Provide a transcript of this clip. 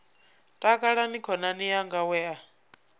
takalani khonani yanga we a